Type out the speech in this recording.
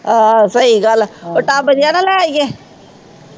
ਆਹੋ ਸਹੀ ਗੱਲ ਆ ਉਹ tub ਜਿਹਾ ਨਾ ਲੈ ਆਈਏ।